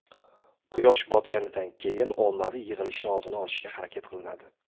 quyosh botganidan keyin ommaviy yig‘ilishni oldini olishga harakat qilinadi.